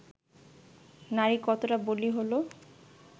নারী কতটা বলি হল